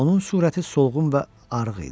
Onun surəti solğun və arıq idi.